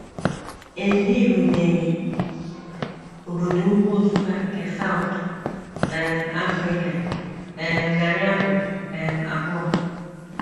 E birubeghi obodo ukwu Nsukka nke South um Africa um narị afọ um abụọ.